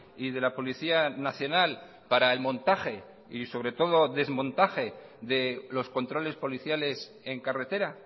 y de la policía nacional para el montaje y sobre todo desmontaje de los controles policiales en carretera